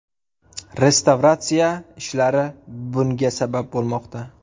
Restavratsiya ishlari bunga sabab bo‘lmoqda.